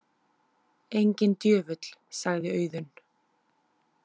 Enginn djöfull, sagði Auðunn.